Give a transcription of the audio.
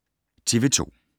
TV 2